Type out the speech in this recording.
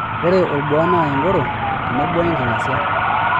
Ore olbuaa naa engoro tenebo enking'asi.